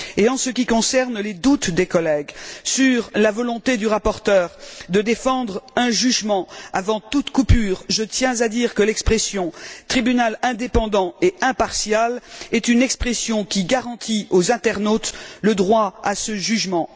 Et en ce qui concerne les doutes des collègues sur la volonté du rapporteur de défendre un jugement avant toute coupure, je tiens à dire que l'expression tribunal indépendant et impartial est une expression qui garantit aux internautes le droit à ce jugement.